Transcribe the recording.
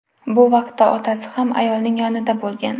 Bu vaqtda otasi ham ayolning yonida bo‘lgan.